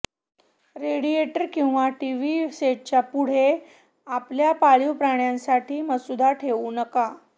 radiator किंवा TV सेटच्या पुढे आपल्या पाळीव प्राण्यांसाठी मसुदा ठेवू नका